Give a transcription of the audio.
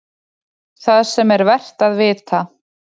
ÞAÐ SEM ER VERT AÐ VITA